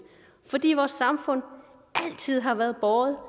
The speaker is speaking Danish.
fordi vores samfund altid har været båret